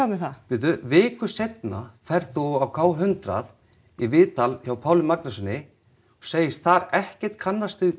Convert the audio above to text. með það bíddu viku seinna ferð þú á k hundrað í viðtal hjá Páli Magnússyni og segist þar ekkert kannast við